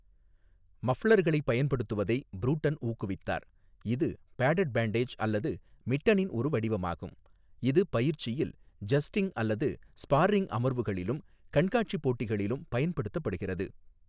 மஃப்ளர்களை' பயன்படுத்துவதை ப்ரூட்டன் ஊக்குவித்தார், இது பேடட் பேண்டேஜ் அல்லது மிட்டனின் ஒரு வடிவமாகும், இது பயிற்சியில் 'ஜஸ்டிங்' அல்லது ஸ்பார்ரிங் அமர்வுகளிலும், கண்காட்சி போட்டிகளிலும் பயன்படுத்தப்படுகிறது.